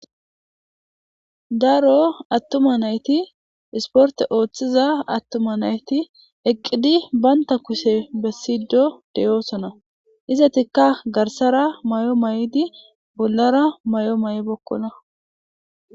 daro attuma nayti isporte ooththiza attuma nayti eqqidi baynta kushe bessido deyoosona izatikka garsara may7o may7di bollara may7o ma7 bokkona